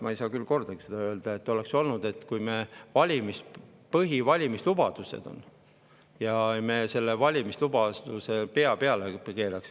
Ma ei saa küll öelda, et kordagi oleks olnud nii, et kui meil on põhivalimislubadus, siis me keerame selle valimislubaduse pea peale.